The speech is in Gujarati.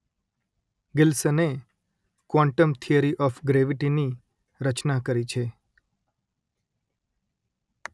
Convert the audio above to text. ગિલ્સને ક્વોન્ટમ થિયરી ઓફ ગ્રેવીટી ની રચના કરી છે